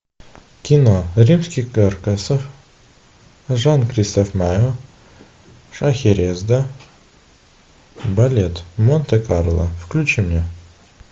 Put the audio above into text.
кино римский корсаков жан кристоф майо шахерезада балет монте карло включи мне